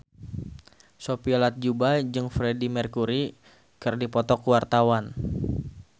Sophia Latjuba jeung Freedie Mercury keur dipoto ku wartawan